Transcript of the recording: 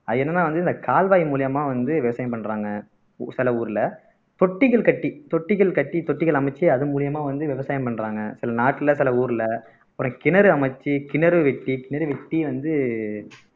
அது என்னன்னா வந்து இந்த கால்வாய் மூலியமா வந்து விவசாயம் பண்றாங்க சில ஊர்ல தொட்டிகள் கட்டி தொட்டிகள் கட்டி தொட்டிகள் அமைச்சு அதன் மூலியமா வந்து விவசாயம் பண்றாங்க சில நாட்டுல பல ஊர்ல ஒரு கிணறு அமைச்சு கிணறு வெட்டி கிணறு வெட்டி வந்து